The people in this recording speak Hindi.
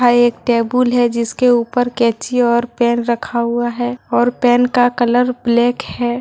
यह एक टेबल है जिसके ऊपर कैंची और पेन रखा हुआ है और पेन का कलर ब्लैक है।